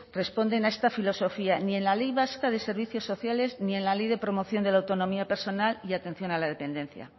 responden a esta filosofía ni en la ley vasca de servicios sociales ni en la ley de promoción de la autonomía personal y atención a la dependencia